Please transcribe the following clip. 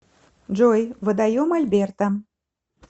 джой водоем альберта